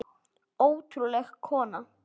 Ótrúleg kona.